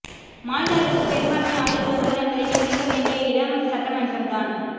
மாநில அரசுக்கு பெரும்பான்மை ஆதரவு உள்ளதா என்பதை நிரூபிக்கவேண்டிய இடம் சட்டமன்றம்தான்